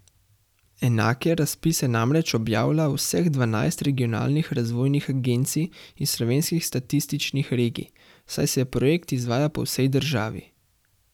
Enake razpise namreč objavlja vseh dvanajst regionalnih razvojnih agencij iz slovenskih statističnih regij, saj se projekt izvaja po vsej državi.